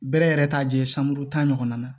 Bɛrɛ yɛrɛ t'a jɛ sanbolo tan ɲɔgɔnna na